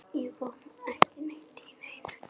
Botnaði ekki neitt í neinu.